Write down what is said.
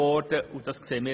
Wir sehen das auch so.